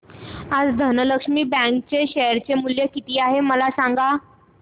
आज धनलक्ष्मी बँक चे शेअर चे मूल्य किती आहे मला सांगा